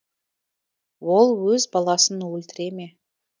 ол өз баласын өлтіре ме